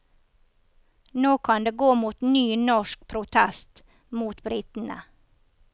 Nå kan det gå mot ny norsk protest mot britene.